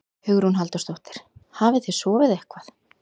Hugrún Halldórsdóttir: Hafið þið sofið eitthvað?